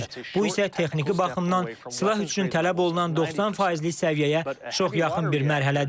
Bu isə texniki baxımdan silah üçün tələb olunan 90 faizlik səviyyəyə çox yaxın bir mərhələdir.